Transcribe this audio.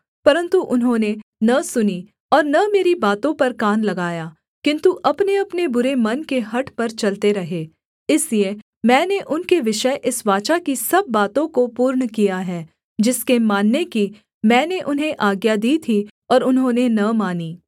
परन्तु उन्होंने न सुनी और न मेरी बातों पर कान लगाया किन्तु अपनेअपने बुरे मन के हठ पर चलते रहे इसलिए मैंने उनके विषय इस वाचा की सब बातों को पूर्ण किया है जिसके मानने की मैंने उन्हें आज्ञा दी थी और उन्होंने न मानी